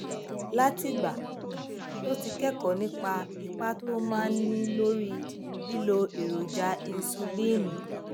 látìgbà um tó ti kékòó nípa ipa tó máa ń ní lórí lílo èròjà insuliini